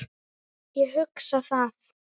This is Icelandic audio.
Ég hugsa það.